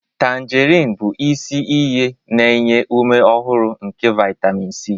Tanjerin bụ isi iyi na-enye ume ọhụrụ nke vitamin C.